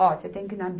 Ó, você tem que ir na